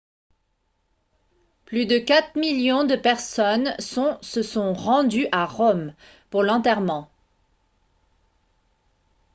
plus de 4 000 000 personnes sont se sont rendues à rome pour l'enterrement